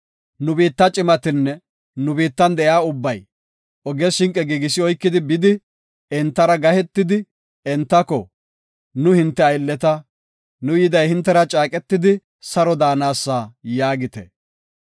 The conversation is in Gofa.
Nu biitta cimatinne nu biittan de7iya ubbay, oges shinqe giigisi oykidi bidi entara gahetidi, entako, ‘Nu hinte aylleta; nu yiday hintera caaqetidi saro daanasa’ yaagite.